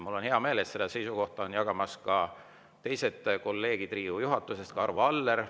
Mul on hea meel, et seda seisukohta jagavad kolleegid Riigikogu juhatusest, seda jagab ka Arvo Aller.